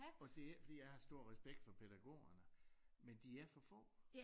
Og det ikke fordi jeg ikke har stor respekt for pædagogerne men de er for få